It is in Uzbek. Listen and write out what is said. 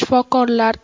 Shifokorlar